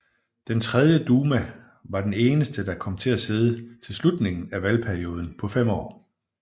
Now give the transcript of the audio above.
Den tredje duma var den eneste der kom til at sidde til slutningen af valgperioden på fem år